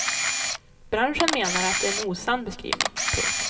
Branschen menar att det är en osann beskrivning. punkt